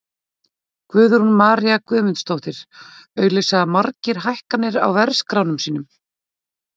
Guðrún María Guðmundsdóttir: Auglýsa margir hækkanir á verðskránum sínum?